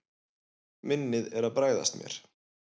Minnið er að bregðast mér.